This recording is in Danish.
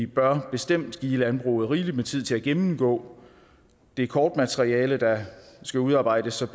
bør bestemt give landbruget rigelig med tid til at gennemgå det kortmateriale der skal udarbejdes så